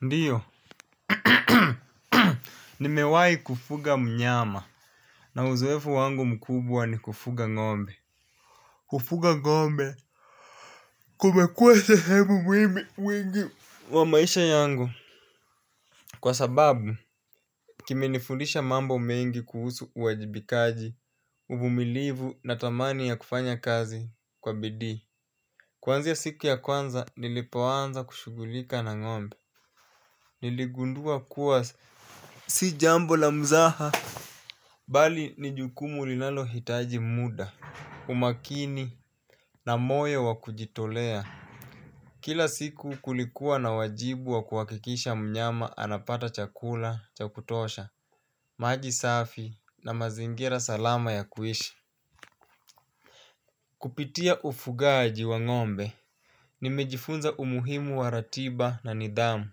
Ndiyo. Nimewahi kufuga mnyama. Na uzoefu wangu mkubwa ni kufuga ng'ombe. Kufuga ng'ombe. Kumekuwa sehemu muhimu mwingi wa maisha yangu. Kwa sababu kimenifundisha mambo mengi kuhusu uwajibikaji. Uvumilivu na thamani ya kufanya kazi kwa bidii. Kuanzia siku ya kwanza nilipoanza kushughulika na ng'ombe. Niligundua kuwa si jambo la muzaha. Bali ni jukumu linalohitaji muda, umakini na moyo wa kujitolea. Kila siku kulikuwa na wajibu wa kuhakikisha mnyama anapata chakula cha kutosha, maji safi na mazingira salama ya kuishi. Kupitia ufugaji wa ng'ombe. Nimejifunza umuhimu wa ratiba na nidhamu.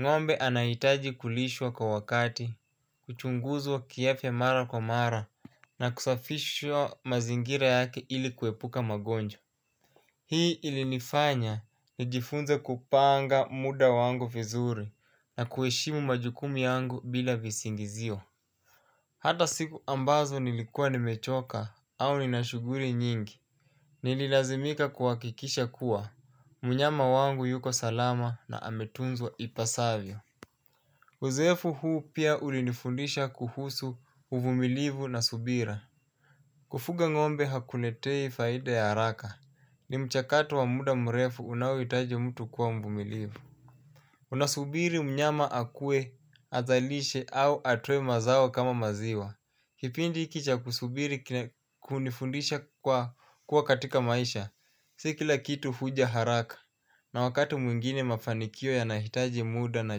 Ng'ombe anahitaji kulishwa kwa wakati, kuchunguzwa kiafya mara kwa mara na kusafishwa mazingira yake ili kuepuka magonjwa. Hii ilinifanya nijifunze kupanga muda wangu vizuri na kuheshimu majukumu yangu bila visingizio. Hata siku ambazo nilikuwa nimechoka au nina shughuli nyingi. Nililazimika kuhakikisha kuwa, mnyama wangu yuko salama na ametunzwa ipasavyo. Uzoefu huu pia ulinifundisha kuhusu uvumilivu na subira. Kufuga ng'ombe hakuniletei faida ya haraka. Ni mchakato wa muda mrefu unaohitaji mtu kuwa mvumilivu. Unasubiri mnyama akue azalishe au atoe mazao kama maziwa. Kipindi hiki cha kusubiri hunifundisha kuwa katika maisha. Si kila kitu huja haraka. Na wakati mwingine mafanikio yanahitaji muda na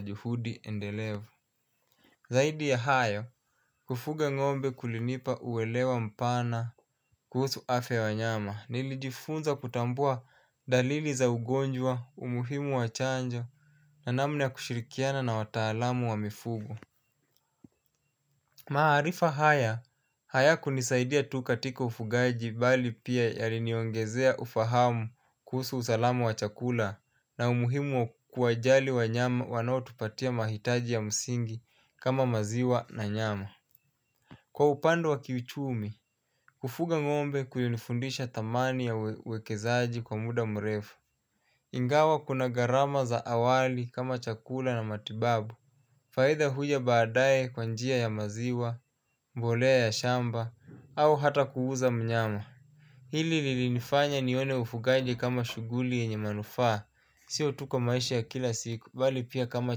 juhudi endelevu. Zaidi ya hayo, kufuga ng'ombe kulinipa uelewa mpana kuhusu afya y wanyama. Nilijifunza kutambua dalili za ugonjwa, umuhimu wa chanjo na namna kushirikiana na watalamu wa mifugo. Maarifa haya, hayakunisaidia tu katika ufugaji bali pia yaliniongezea ufahamu kuhusu usalama wa chakula. Na umuhimu wa kuwajali wanyama wanaotupatia mahitaji ya msingi kama maziwa na nyama. Kwa upande wa kiuchumi, kufuga ng'ombe kulinifundisha thamani ya uwekezaji kwa muda mrefu. Ingawa kuna gharama za awali kama chakula na matibabu. Faida huja baadae kwa njia ya maziwa, mbolea ya shamba, au hata kuuza mnyama. Hili lilinifanya nione ufugaji kama shughuli yenye manufaa, sio tu kwa maisha ya kila siku, bali pia kama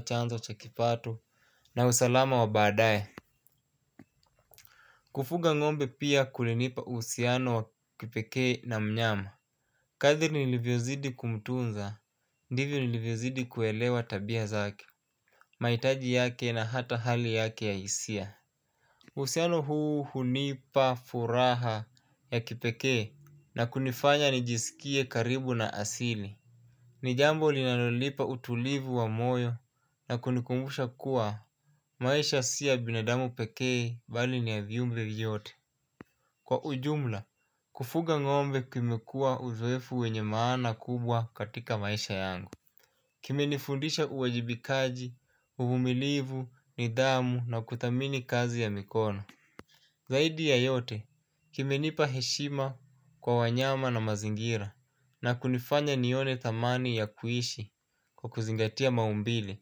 chanzo cha kipato na usalama wa baadae. Kufuga ng'ombe pia kulinipa uhusiano wa kipekee na mnyama. Kadri nilivyozidi kumtunza, ndivyo nilivyozidi kuelewa tabia zake. Mahitaji yake na hata hali yake ya hisia. Uhusiano huu hunipa furaha ya kipekee na kunifanya nijisikie karibu na asili. Ni jambo linalonipa utulivu wa moyo na kunikumbusha kuwa maisha si ya binadamu pekee bali ni ya viumbe vyote. Kwa ujumla, kufuga ng'ombe kumekuwa uzoefu wenye maana kubwa katika maisha yangu. Kimenifundisha uwajibikaji, uvumilivu, nidhamu na kuthamini kazi ya mikono. Zaidi ya yote, kimenipa heshima kwa wanyama na mazingira. Na kunifanya nione thamani ya kuishi kwa kuzingatia maumbile.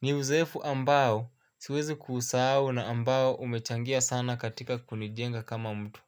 Ni uzoefu ambao siwezi kuusahau na ambao umechangia sana katika kunijenga kama mtu.